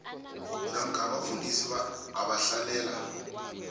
namkha abafundisi abahlalela